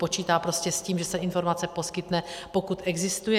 Počítá prostě s tím, že se informace poskytne, pokud existuje.